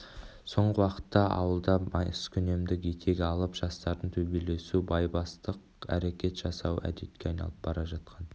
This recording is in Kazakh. соңғы уақытта ауылда маскүнемдік етек алып жастардың төбелесу байбастақ әрекет жасауы әдетке айналып бара жатқан